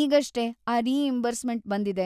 ಈಗಷ್ಟೇ ಆ ರೀಇಂಬರ್ಸ್‌ಮೆಂಟ್‌ ಬಂದಿದೆ!